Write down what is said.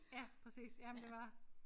Ja præcis ja men det var